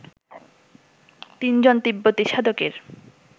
তিনজন তিব্বতী সাধকের